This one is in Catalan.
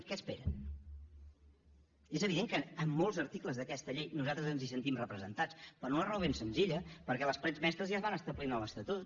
què esperen i és evident que en molts articles d’aquesta llei nosaltres ens hi sentim representats per una raó ben senzilla perquè les parets mestres ja es van establir en l’estatut